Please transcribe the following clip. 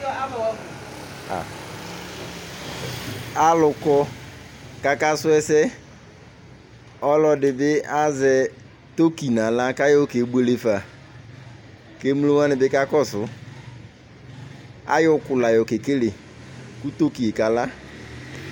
alu kɔ ku ɔka su ɛsɛ, ɔlɔdi bi azɛ Tokyo nu aɣla ku ayɔ ke buele fa, ku emlo wʋani bi ka kɔsu, atɔ ɔku la yɔ kekele ku toki yɛ kala